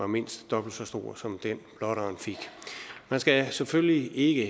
mindst dobbelt så stor som den blotteren fik man skal selvfølgelig ikke